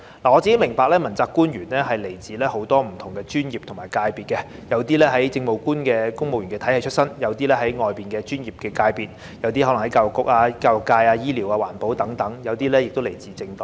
我個人明白問責官員來自很多不同專業和界別，有些是來自政務官體系出身，有些是來自外面的專業界別，有些可能是來自教育界、醫療環保等，有些則來自政黨。